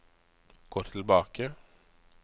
gå tilbake